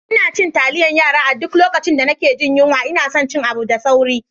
Ina cin taliyar yara a duk lokacin da nake jin yunwa ina son cin abu da sauri.